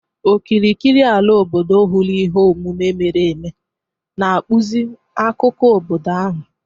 Okirikiri ala obodo hụrụ ihe omume mere eme, na-akpụzi akụkọ obodo ahụ.